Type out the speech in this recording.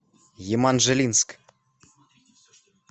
еманжелинск